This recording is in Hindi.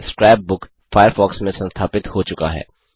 स्क्रैप बुक फ़ायरफ़ॉक्स में संस्थापित हो चुका है